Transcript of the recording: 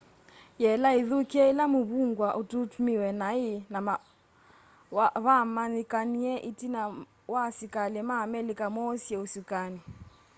yela ithukie ila muvungwa ututmiiwe nai na vamanyikanie itina wa asikali ma amelika moosie usukani